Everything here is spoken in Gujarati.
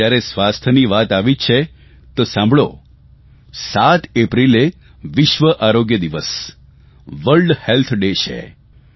અને જયારે સ્વાસ્થ્યની વાત આવી જ છે તો સાંભળો 7 એપ્રિલે વિશ્વ આરોગ્ય દિવસ વર્ડ હેલ્થ ડે છે